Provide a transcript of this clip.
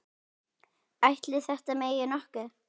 Ætli þetta megi nokkuð?